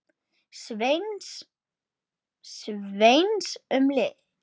Sveins um leið.